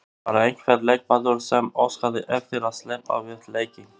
Var einhver leikmaður sem óskaði eftir að sleppa við leikinn?